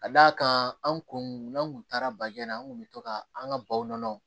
Ka d'a kan an kun n'an kun taara baji la an kun bɛ to ka an ka baw nɔnɔ